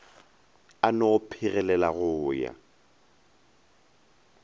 a no phegelela go ya